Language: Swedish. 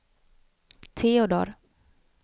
Teodor